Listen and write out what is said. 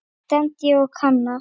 stend ég og kanna.